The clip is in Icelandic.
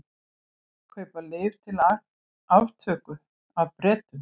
Kaupa lyf til aftöku af Bretum